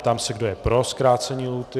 Ptám se, kdo je pro zkrácení lhůty?